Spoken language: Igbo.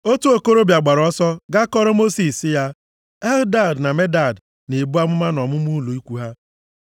Otu okorobịa gbapụrụ ọsọ gaa kọọrọ Mosis sị ya, “Eldad na Medad na-ebu amụma nʼọmụma ụlọ ikwu ha.”